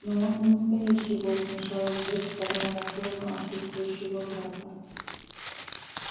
но он не настоящий волк вмешалась бэт вставая на сторону отсутствующего брата